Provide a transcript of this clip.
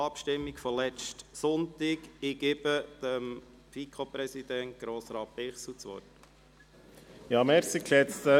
Ich erteile FiKo-Präsident Grossrat Bichsel das Wort.